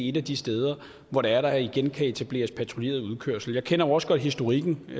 et af de steder hvor der der igen kan etableres patruljeret udkørsel jeg kender jo også godt historikken det